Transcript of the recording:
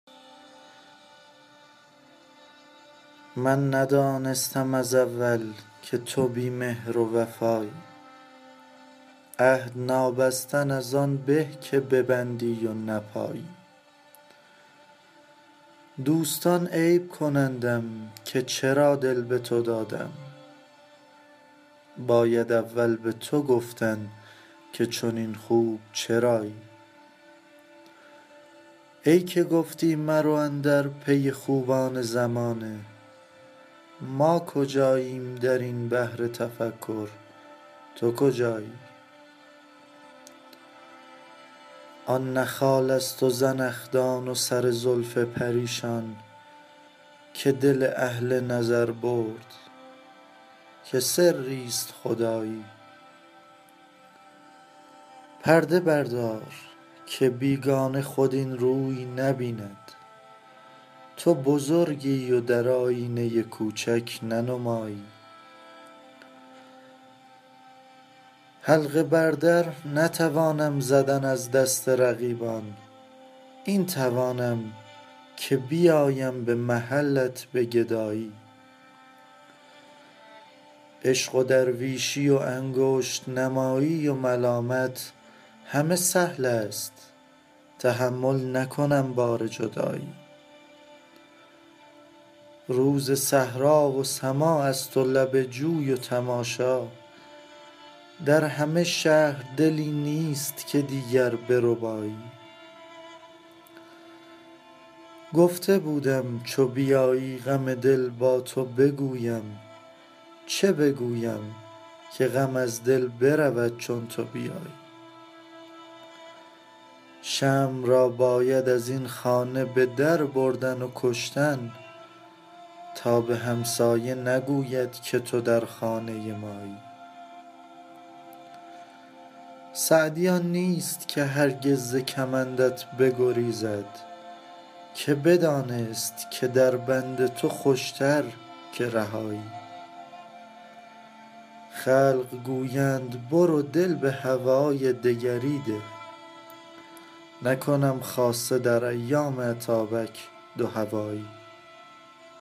من ندانستم از اول که تو بی مهر و وفایی عهد نابستن از آن به که ببندی و نپایی دوستان عیب کنندم که چرا دل به تو دادم باید اول به تو گفتن که چنین خوب چرایی ای که گفتی مرو اندر پی خوبان زمانه ما کجاییم در این بحر تفکر تو کجایی آن نه خالست و زنخدان و سر زلف پریشان که دل اهل نظر برد که سریست خدایی پرده بردار که بیگانه خود این روی نبیند تو بزرگی و در آیینه کوچک ننمایی حلقه بر در نتوانم زدن از دست رقیبان این توانم که بیایم به محلت به گدایی عشق و درویشی و انگشت نمایی و ملامت همه سهلست تحمل نکنم بار جدایی روز صحرا و سماعست و لب جوی و تماشا در همه شهر دلی نیست که دیگر بربایی گفته بودم چو بیایی غم دل با تو بگویم چه بگویم که غم از دل برود چون تو بیایی شمع را باید از این خانه به در بردن و کشتن تا به همسایه نگوید که تو در خانه مایی سعدی آن نیست که هرگز ز کمندت بگریزد که بدانست که در بند تو خوشتر که رهایی خلق گویند برو دل به هوای دگری ده نکنم خاصه در ایام اتابک دوهوایی